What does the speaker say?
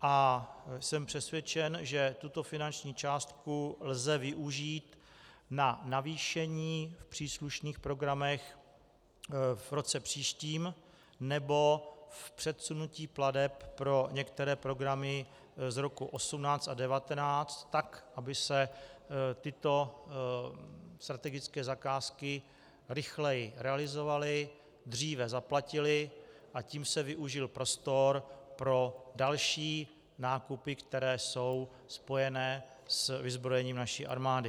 A jsem přesvědčen, že tuto finanční částku lze využít na navýšení v příslušných programech v roce příštím nebo v předsunutí plateb pro některé programy z roku 2018 a 2019 tak, aby se tyto strategické zakázky rychleji realizovaly, dříve zaplatily, a tím se využil prostor pro další nákupy, které jsou spojené s vyzbrojením naší armády.